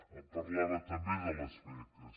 em parlava també de les beques